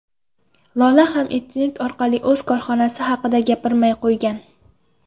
Lola ham internet orqali o‘z korxonasi haqida gapirmay qo‘ygan.